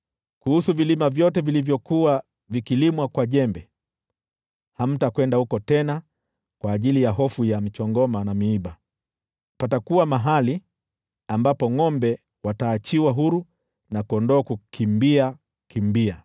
Kuhusu vilima vyote vilivyokuwa vikilimwa kwa jembe, hamtakwenda huko tena kwa ajili ya hofu ya michongoma na miiba. Patakuwa mahali ambapo ngʼombe wataachiwa huru, na kondoo kukimbia kimbia.